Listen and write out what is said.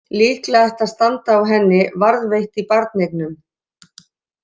Líklega ætti að standa á henni: Varðveitt í barneignum.